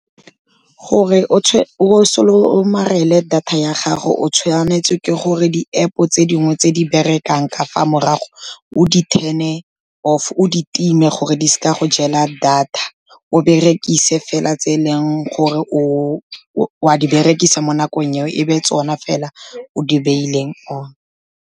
Gore o somarele data ya gago, o tshwanetswe ke gore di-App-o tse dingwe tse di berekang ka fa morago, o di-turn-e off o di time gore di seka go jela data, o berekise fela tse e leng gore o a di berekisa mo nakong eo, e be tsona fela o di beileng on.